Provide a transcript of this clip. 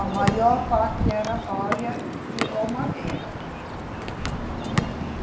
A maior parte era palha e, ou madeira, né. E